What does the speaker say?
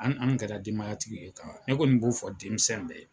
An an kɛra denmaya tigiw ye ka ban ne kɔni b'o fɔ denmisɛn bɛɛ ye.